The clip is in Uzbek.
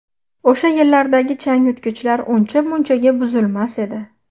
O‘sha yillardagi changyutgichlar uncha-munchaga buzilmas edi.